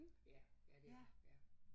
Ja ja det er ja